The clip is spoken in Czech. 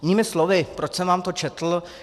Jinými slovy, proč jsem vám to četl.